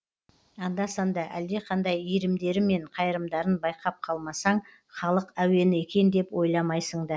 анда санда әлдеқандай иірімдері мен қайырымдарын байқап қалмасаң халық әуені екен деп ойламайсың да